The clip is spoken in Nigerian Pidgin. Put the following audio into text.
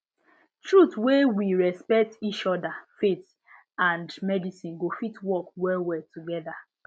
true wey we respect each other faith and medicine go fit work well well together